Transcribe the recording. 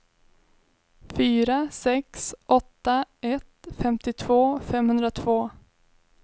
fyra sex åtta ett femtiotvå femhundratvå